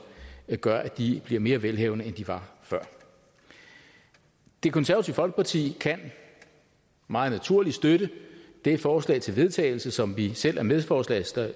gør at de bliver mere velhavende end de var før det konservative folkeparti kan meget naturligt støtte det forslag til vedtagelse som vi selv er medforslagsstillere